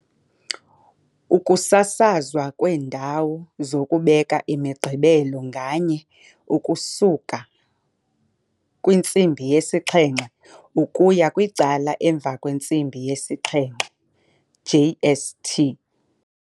Ukusasazwa kweendawo zokubeka iMigqibelo nganye ukusuka kwi-19:00 ukuya ku-19:30, JST.